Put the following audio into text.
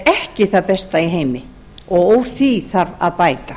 ekki það besta í heimi og úr því þarf að bæta